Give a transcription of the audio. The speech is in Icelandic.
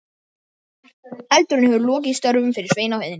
Eldurinn hefur lokið störfum fyrir Svein á heiðinni.